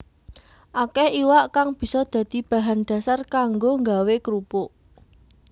Akéh iwak kang bisa dadi bahan dhasar kanggo nggawé krupuk